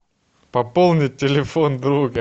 пополнить телефон друга